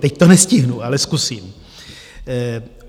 Teď to nestihnu, ale zkusím.